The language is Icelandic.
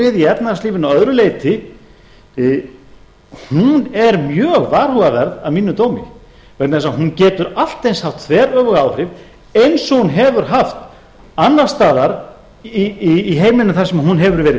við í efnahagslífinu að öðru leyti hún er mjög varhugaverð að mínum dómi vegna þess að hún getur allt eins haft þveröfug áhrif eins og hún hefur haft annars staðar í heiminum þar sem hún hefur verið